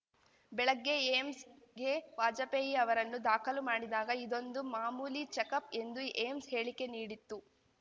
ಬೆಳಗ್ಗೆ ಏಮ್ಸ್‌ಗೆ ವಾಜಪೇಯಿ ಅವರನ್ನು ದಾಖಲು ಮಾಡಿದಾಗ ಇದೊಂದು ಮಾಮೂಲಿ ಚೆಕಪ್‌ ಎಂದು ಏಮ್ಸ್‌ ಹೇಳಿಕೆ ನೀಡಿತ್ತು